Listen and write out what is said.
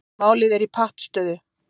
Málið er í pattstöðu